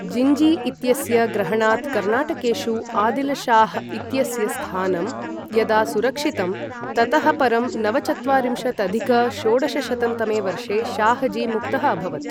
जिन्जी इत्यस्य ग्रहणात् कर्नाटकेषु आदिल् शाह् इत्यस्य स्थानं यदा सुरक्षितं, ततः परं नवचत्वारिंशदधिक षोडशशतं तमे वर्षे शाहजी मुक्तः अभवत्।